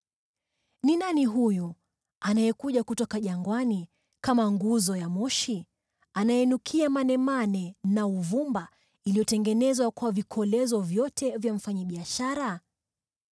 Ni nani huyu anayekuja kutoka jangwani kama nguzo ya moshi, anayenukia manemane na uvumba iliyotengenezwa kwa vikolezo vyote vya mfanyabiashara?